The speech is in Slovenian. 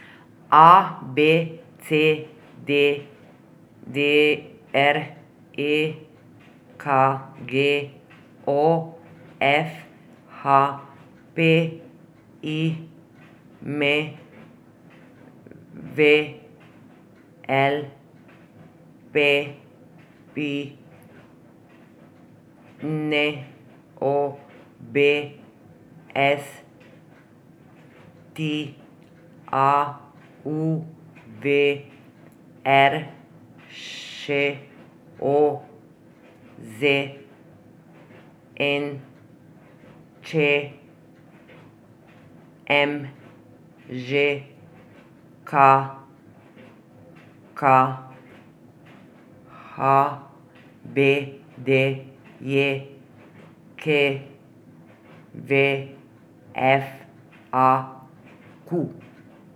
A B C; D D R; E K G; O F; H P; I M V; L P P; N O B; S T A; U V; R Š; O Z N; Č M; Ž K K; H B D J K V; F A Q.